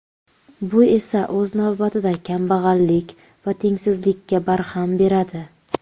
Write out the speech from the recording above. Bu esa o‘z navbatida kambag‘allik va tengsizlikka barham beradi.